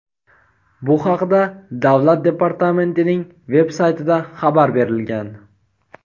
Bu haqda Davlat departamentining veb-saytida xabar berilgan.